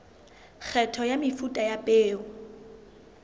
kgetho ya mefuta ya peo